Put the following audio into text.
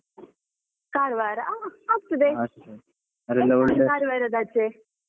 Karwar ಹಾ ಆಗ್ತದೆ ಎಂಥ ಉಂಟು side Karwar ದ ಆಚೆ.